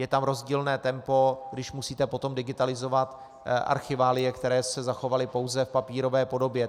Je tam rozdílné tempo, když musíte potom digitalizovat archiválie, které se zachovaly pouze v papírové podobě.